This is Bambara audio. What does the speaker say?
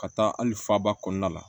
Ka taa hali faaba kɔnɔna la